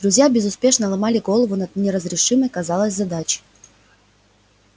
друзья безуспешно ломали голову над неразрешимой казалось задачей